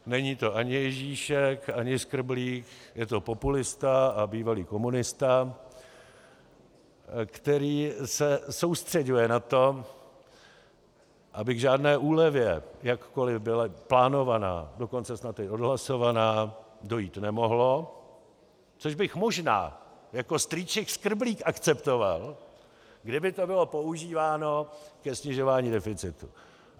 Není to ani Ježíšek ani Skrblík, je to populista a bývalý komunista, který se soustřeďuje na to, aby k žádné úlevě jakkoliv byla plánovaná, dokonce snad i odhlasovaná, dojít nemohlo, což bych možná jako strýček Skrblík akceptoval, kdyby to bylo používáno ke snižování deficitu.